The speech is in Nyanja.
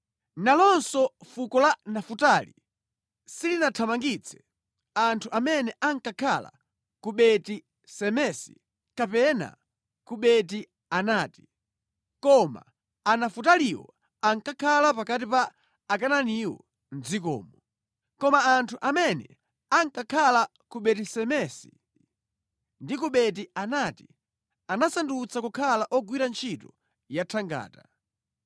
Nalonso fuko la Nafutali silinathamangitse anthu amene ankakhala ku Beti Semesi kapena ku Beti Anati. Koma Anafutaliwo ankakhala pakati pa Akanaaniwo mʼdzikomo. Koma anthu amene ankakhala ku Beti Semesi ndi ku Beti Anati anawasandutsa kukhala ogwira ntchito yathangata.